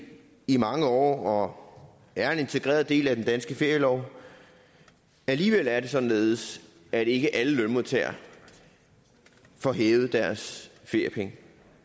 i mange år og er en integreret del af den danske ferielov alligevel er det således at ikke alle lønmodtagere får hævet deres feriepenge